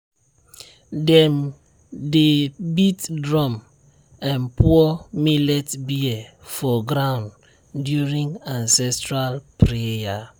dem dey beat drum and pour millet beer for ground during ancestral prayer.